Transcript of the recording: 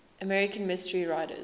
american mystery writers